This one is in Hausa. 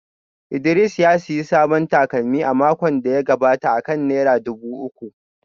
Idris ya sayi sabon takalmi a makon da ya gabata akan naira dubu uku